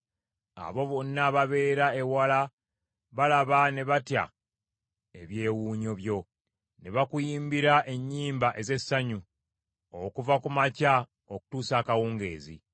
Abo bonna ababeera ewala balaba ne batya ebyewuunyo byo; ne bakuyimbira ennyimba ez’essanyu okuva ku makya okutuusa akawungeezi.